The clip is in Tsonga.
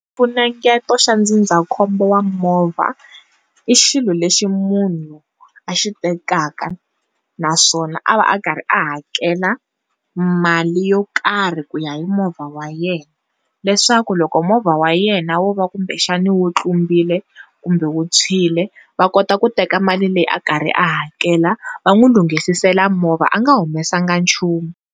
Xifunengeto xa ndzindzakhombo wa movha i xilo lexi munhu a xi tekaka naswona a va a karhi a hakela mali yo karhi ku ya hi movha wa yena leswaku loko movha wa yena wo va kumbexani wu tlumbile kumbe wu tshwile va kota ku teka mali leyi a karhi a hakela va n'wi lunghisisela movha anga humesanga nchumu.